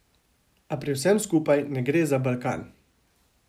A pri vsem skupaj ne gre za Balkan.